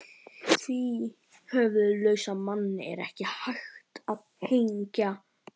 Því höfuðlausan mann er ekki hægt að hengja.